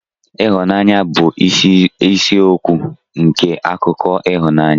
Ịhụnanya bụ isi isiokwu nke akụkọ ịhụnanya.